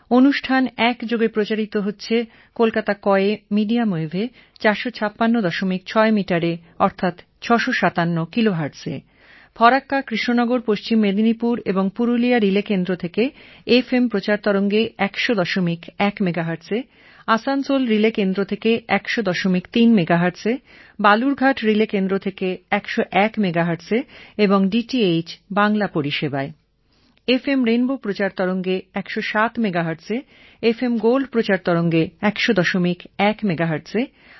আমার প্রিয় দেশবাসী নমস্কার